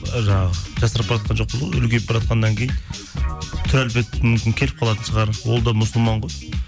ы жаңағы жасарып баратқан жоқпыз ғой үлкейіп баратқаннан кейін түр әлпет мүмкін келіп қалатын шығар ол да мұсылман ғой